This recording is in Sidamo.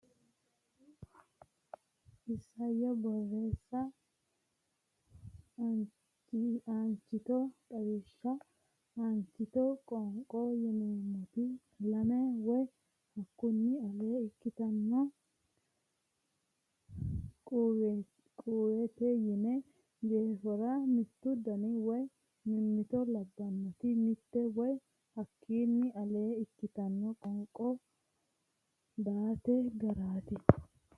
Isayyo Borreessa Aanchito Xawishsha Aanchitote qoonqo yineemmoti lame woy hakkunni alee ikkitino quwitte sinna jeefora mittu daniti woy mimmito labbannoti mitte woy hakkunni alee ikkitino qoonqo daate garaati.